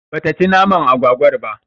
Bata ci naman agwagwar ba